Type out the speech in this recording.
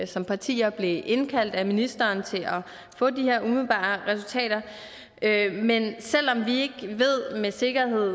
som partier blev indkaldt af ministeren til at få de her umiddelbare resultater men selv om vi ikke ved med sikkerhed